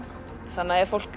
þannig að ef fólk